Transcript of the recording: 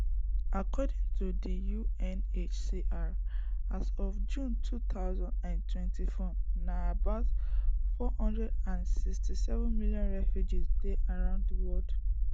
according to di unhcr as of june two thousand and twenty-four na about four hundred and thirty-seven million refugees dey around di world